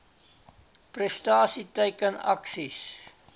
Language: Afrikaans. prestasie teiken aksies